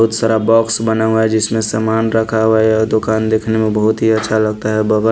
बहुत सारा बॉक्स बना हुआ है जिसमें सामान रखा हुआ है दुकान देखने में बहुत ही अच्छा लगता है बाबा --